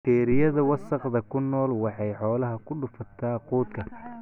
Bakteeriyada wasakhda ku nool waxay xoolaha ku dhufataa quudka.